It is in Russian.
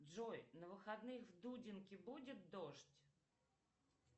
джой на выходных в дудинке будет дождь